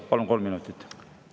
Palun kolm minutit juurde.